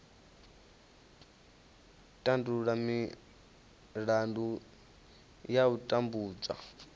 tandulula milandu ya u tambudzwa